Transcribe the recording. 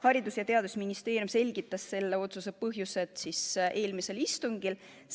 Haridus- ja Teadusministeerium selgitas selle otsuse põhjuseid eelmisel istungil.